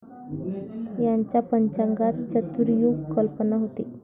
यांच्या पंचांगात चतुर्युग कल्पना होती.